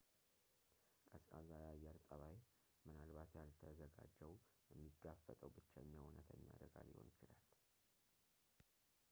ቀዝቃዛ የአየር ጠባይ ምናልባት ያልተዘጋጀው የሚጋፈጠው ብቸኛው እውነተኛ አደጋ ሊሆን ይችላል